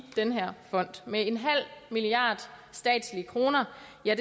den her fond med en halv milliard statslige kroner